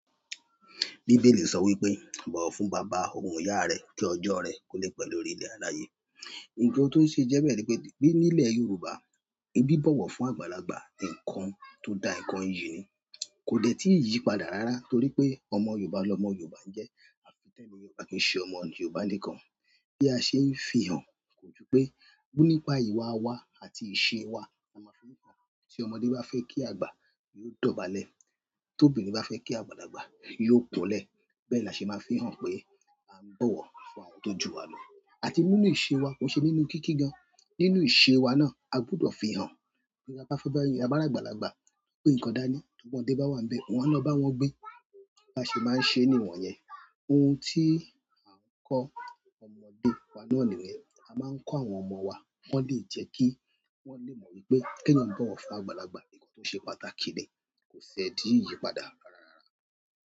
Bíbélì sọ wípé, "bọ̀wọ̀ fún bàbá òun ìyá rẹ, kí ọjọ́ rẹ ko lẹ̀ pẹ̀ lórí ilẹ̀ aláyé." Nkan to se je be ni wípé, ni ile yorùbá, bi bowo fún agbaglagba, nkan to da gan, iyi ni, ko de ti yípadà rara toripe ọmọ yorùbá lomo yorùbá nje, afi te'niyen o ba ki se ọmọ yorùbá nìkan bí a ṣe ń fihàn kò ju pé, gbú nípa ìwà wa àti ìṣe wa oun la fi hàn. Tí ọmọdé bá fẹ́ kí àgbà, yiò dọ̀bálẹ̀. Tóbìnrin bá fẹ́ kí àgbàlagbà, yiò kúnlẹ̀. Bẹ́ẹ̀ la ṣe máa ń fihàn pé a ń bọ̀wọ̀ fún àwọn tó jù wa lọ. Àti nínú ìṣe wa kò n ṣe nínú kíkí gan. Nínú ìṣe wa náà, a gbọdọ̀ fihàn pé bá fẹ́ bá -a ba ri àgbàlagbà. Tó gbé ǹkan dání, tí ọmọdé bá wà nbẹ̀, wọ́n á lọ bá wọn gbé. Bá ṣe máa ń ṣe ni won yẹn. Ohun tí à ń kọ́ ọmọdé wa náà niyen. A máa ń kọ́ àwọn ọmọ wa. Wọ́n le jẹ́ kí wọ́n lè mọ̀ wípé kí eeyan bọ̀wọ̀ fún àgbàlagbà nkan tó ṣe pàtàkì ni kò ṣe dí ìyípadà rárá rará.